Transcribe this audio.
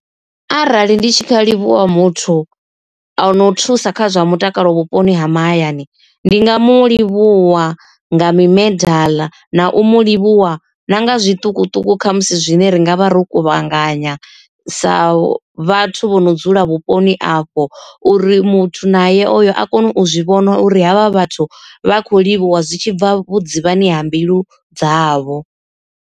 Arali ndi tshi nga livhuwa muthu ano u thusa kha zwa mutakalo vhuponi ha mahayani, ndi nga mu livhuwa nga mimedala, na u mu livhuwa na nga zwiṱukuṱuku kha musi zwine ri nga vha ro kuvhanganya sa vhathu vho no dzula vhuponi afho uri muthu naye oyo a kone u zwi vhona uri havha vhathu vha kho livhuwa zwi tshi bva vhudzivhani ha mbilu dzavho.